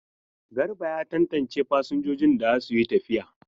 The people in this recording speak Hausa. Garba ya tantance fasinjojin da za su yi tafiya.